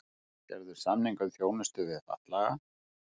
Gerðu samning um þjónustu við fatlaða